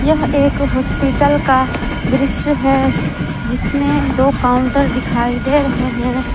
यह एक हॉस्पिटल का दृश्य है जिसमें दो काउंटर दिखाई दे रहे है।